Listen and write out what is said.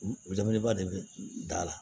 U be belebeleba de be da la